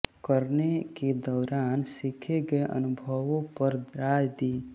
करने के दौरान सीखे गये अनुभवों पर राय दी